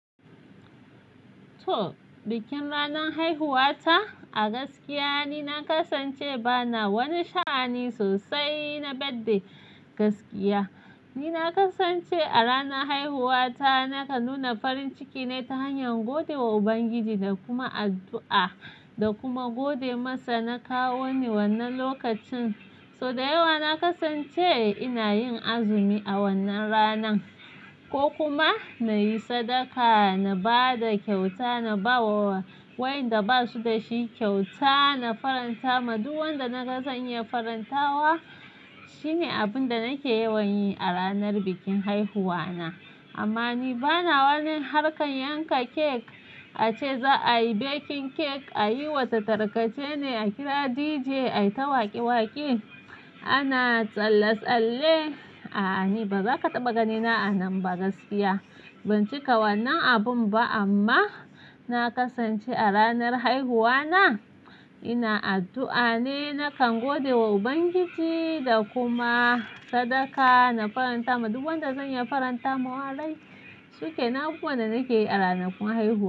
To, bikin ranar haihuwata, a gaskiya ni na kasance bana wani sha'ani sosai na badde gaskiya. Ni na kasance a ranar haihuwata nakan nuna farin ciki ne ta hanyar gode wa Ubangiji da kuma addu'a da kuma gode masa na kawo ni wannan lokacin. So da yawa na kasance ina yin azumi a wannan ranan ko kuma na yi sadaka, na ba da kyauta, na ba wa wayanda ba su da shi kyauta, na faranta ma duk wanda na ga zan iya farantawa. Shine abin da nake yawan yi a ranar bikin haihuwa na. Amma ni bana wani harkan yanka kek, a ce za a yi baking kek, a yi wasu tarkace ne, a kira DJ, a yi ta waƙe-waƙe, ana tsalle-tsalle. A'a, ni baza ka taɓa gani na a nan ba gaskiya. Ban cika wannan abun ba amma na kasance a ranar haihuwa na ina addu'a ne, nakan gode wa Ubangiji da kuma sadaka, na faranta ma duk wanda zan iya faranta ma. Wa rai, su ke na abubuwan da nake yi a ranakun haihuwa.